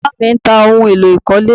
Bàbá mi ń ta ohun èlò ìkọ́lé